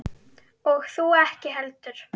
Og þú ekki heldur.